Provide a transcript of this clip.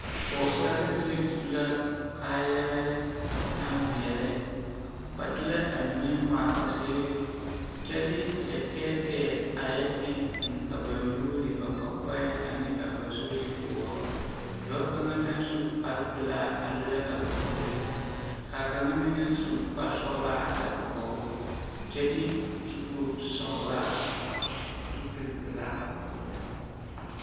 Pɔgesarebilii su la kaayarɛɛ naŋ veɛlɛ ba de la a mine ŋaa a ba seere kyɛ de lɛtɛɛtɛɛ a yɛ eŋ eŋ a ba nuuri ba kɔkɔɛŋ ane a ba zuri poɔ dɔɔ kaŋ naŋ su kparepelaa are la a ba puoriŋ ka kaŋa meŋ naŋ su kparesɔglaa a are kɔge o kyɛ de zupilisɔglaa a hɔgle zupilpelaa a hɔgle.